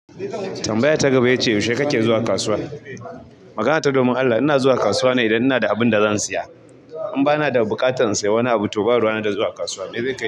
Tambaya ta gaba ya ce yaushe kake zuwa kasuwa? Magana ta domin Allah, ina zuwa kasuwa ne idan ina da abin da zan siya, in bana da buƙatan in sayi wani abu to ba ruwana da zuwa kasuwa, mi zai kai ni,